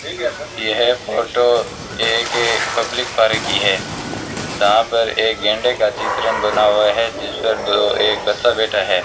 यह फोटो एक public park की है जहां पर एक गैंडे का चित्रन बना हुआ है जिस पर दो एक बच्चा बैठा है।